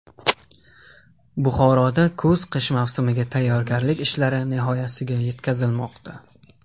Buxoroda kuz-qish mavsumiga tayyorgarlik ishlari nihoyasiga yetkazilmoqda.